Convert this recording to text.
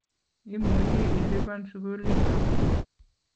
Imuchi ilipan sukulinyo